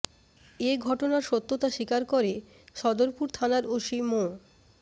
এ ঘটনার সত্যতা স্বীকার করে সদরপুর থানার ওসি মো